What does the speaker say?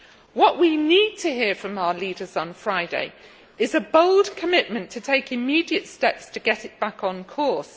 What we need to hear from our leaders on Friday is a bold commitment to take immediate steps to get back on course.